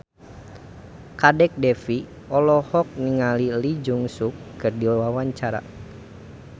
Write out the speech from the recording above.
Kadek Devi olohok ningali Lee Jeong Suk keur diwawancara